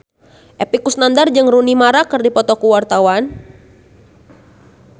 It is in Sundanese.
Epy Kusnandar jeung Rooney Mara keur dipoto ku wartawan